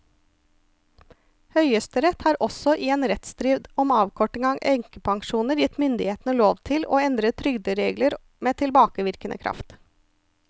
Høyesterett har også i en rettsstrid om avkorting av enkepensjoner gitt myndighetene lov til å endre trygderegler med tilbakevirkende kraft.